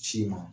Ci ma